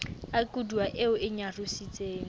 a koduwa eo e nyarositseng